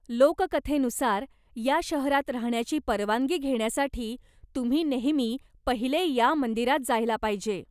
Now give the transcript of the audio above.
लोककथेनुसार, या शहरात राहण्याची परवानगी घेण्यासाठी तुम्ही नेहमी पहिले या मंदिरात जायला पाहिजे.